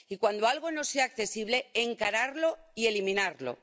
Y cuando algo no sea accesible, encararlo y eliminarlo.